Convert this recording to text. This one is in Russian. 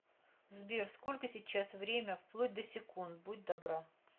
сбер сколько сейчас время вплоть до секунд будь добра